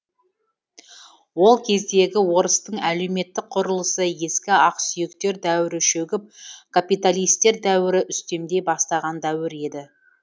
ол кездегі орыстың әлеумет құрылысы ескі ақсүйектер дәуірі шөгіп капиталистер дәуірі үстемдей бастаған дәуір еді